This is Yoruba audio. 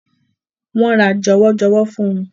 Wọ́n ra jọwọ́jọwọ́ fún un.